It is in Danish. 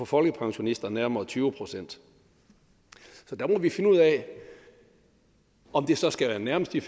folkepensionisterne nærmere tyve procent så der må vi finde ud af om det så skal være nærmest de